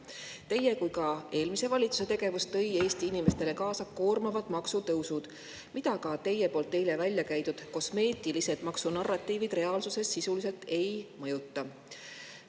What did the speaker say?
Nii teie kui ka eelmise valitsuse tegevus tõi Eesti inimestele kaasa koormavad maksutõusud, mida ka teie eile välja käidud kosmeetilised maksunarratiivid reaalsuses sisuliselt ei mõjuta.